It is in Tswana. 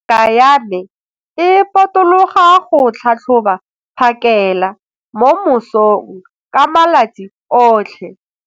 Ngaka ya me e potologa go tlhatlhoba phakêla mo mosong ka malatsi otlhe.